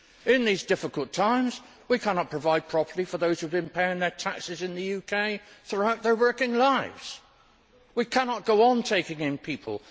In these difficult times, we cannot provide properly for those who have been paying their taxes in the UK throughout their working lives we cannot go on taking in people.